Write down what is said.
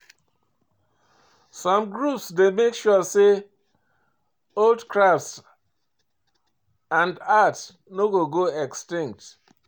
Some groups dey make sure say old craft and art no go go extinct